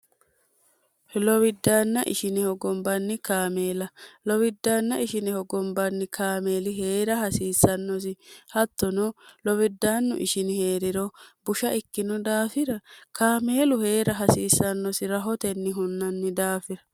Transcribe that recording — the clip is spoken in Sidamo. lowiddaanna ishineho gombanni kaameela lowiddaanna ishineho gombanni kaameeli hee'ra hasiissannosi hattono lowiddaannu ishini hee'riro busha ikkino daafira kaameelu hee'ra hasiissannosi rahotenni hunnanni daafira